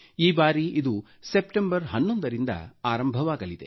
ಈ ಬಾರಿ ಇದು ಸೆಪ್ಟೆಂಬರ್ 11 ರಿಂದ ಆರಂಭವಾಗಲಿದೆ